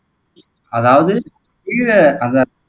அதாவது கீழ அதை